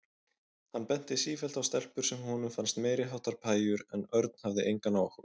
Hann benti sífellt á stelpur sem honum fannst meiriháttar pæjur en Örn hafði engan áhuga.